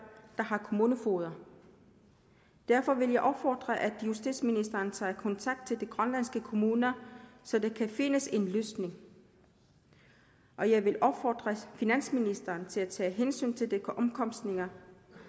har kommunefogeder derfor vil jeg opfordre til at justitsministeren tager kontakt til de grønlandske kommuner så der kan findes en løsning og jeg vil opfordre finansministeren til at tage hensyn til de omkostninger